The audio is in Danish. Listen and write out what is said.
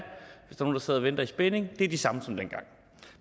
nogle der sidder og venter i spænding er de samme som dengang